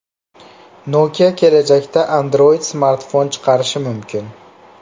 Nokia kelajakda Android-smartfon chiqarishi mumkin.